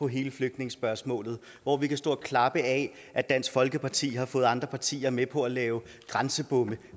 hele flygtningespørgsmålet hvor vi kan stå og klappe af at dansk folkeparti har fået andre partier med på at lave grænsebomme